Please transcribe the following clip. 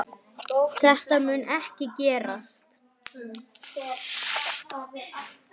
Þetta mun ekki gerast.